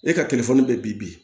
E ka bɛ bi